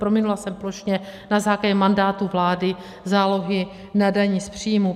Prominula jsem plošně na základě mandátu vlády zálohy na dani z příjmů.